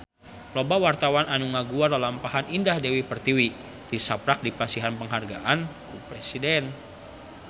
Loba wartawan anu ngaguar lalampahan Indah Dewi Pertiwi tisaprak dipasihan panghargaan ti Presiden